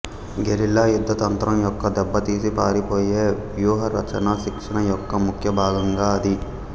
guerrilla యుద్ధతంత్రం యొక్క దెబ్బతీసి పారిపోయే వ్యూహరచన శిక్షణయొక్క ముఖ్యభాగంగా అది